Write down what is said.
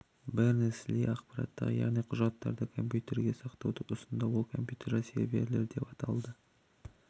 бернес-ли ақпаратты яғни құжаттарды компьютергде сақтауды ұсынды ол компьютерлер серверлер деп аталды